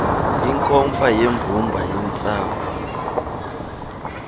inkomfa yembumba yeentsapho